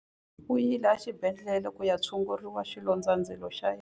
U yile exibedhlele ku ya tshungurisa xilondzandzilo xa yena.